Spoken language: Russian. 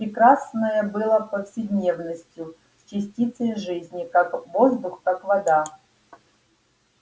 прекрасное было повседневностью частицей жизни как воздух как вода